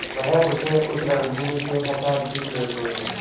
वह उसे उस रणभूमि से हटा भी ले गये